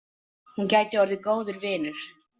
Hún gæti orðið góður vinur.